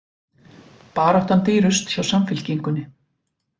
Baráttan dýrust hjá Samfylkingunni